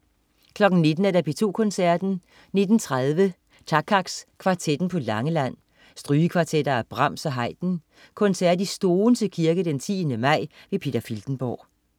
19.00 P2 Koncerten. 19.30 Takacs Kvartetten på Langeland. Strygekvartetter af Brahms og Haydn. (Koncert i Stoense Kirke 10. maj). Peter Filtenborg